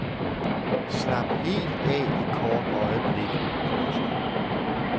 Slap helt af et kort øjeblik. punktum